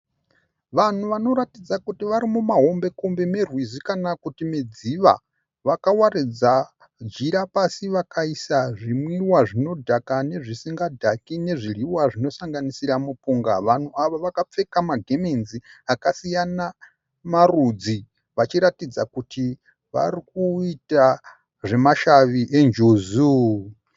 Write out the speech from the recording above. Vanhu vanoratidza kuti vari mumahombe -kombe merwizi kana kuti medziva. Vakawaridza jira pasi vakaisa zvimwiwa zvinodhaka nezvisingadhaki nezvidyiwa zvinosanganisira mupunga. Vanhu ava vakapfeka magemenzi akasiyana marudzi vachiratidza kuti vari kuita zvemashavi eNjuzu.